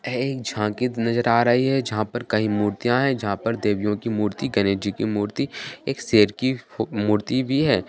यह एक झांकी नजर आ रही है जहाँ पर कई मूर्तियां है जहाँ पर देवियो की मूर्ति गणेश जी की मूर्ति और शेर की मूर्ति भी है।